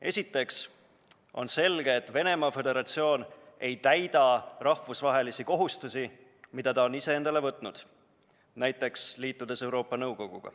Esiteks on selge, et Venemaa Föderatsioon ei täida rahvusvahelisi kohustusi, mis ta on ise endale võtnud, liitudes näiteks Euroopa Nõukoguga.